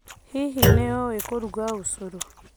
Hihi nĩ ũĩ kũruga ũcũrũ?